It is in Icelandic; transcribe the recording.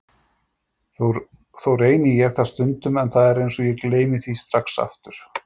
Þó reyni ég það stundum en það er eins og ég gleymi því strax aftur.